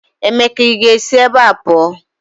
Emeka ị ga-esi ebe a pụọ!